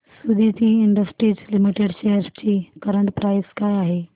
Suditi industries limited shares ची current price काय आहे